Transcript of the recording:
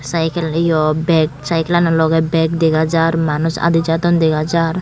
sykel yo beg sykelano logey beg dega jar manuj adi jadon dega jar.